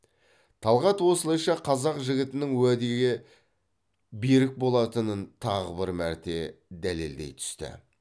талғат осылайша қазақ жігітінің уәде берік болатынын тағы бір мәрте дәлелдей түсті